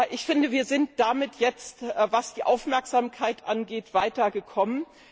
Ich finde, wir sind damit jetzt, was die Aufmerksamkeit angeht, weitergekommen.